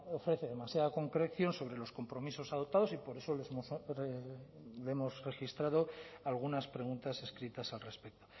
ofrece demasiada concreción sobre los compromisos adoptados y por eso le hemos registrado algunas preguntas escritas al respeto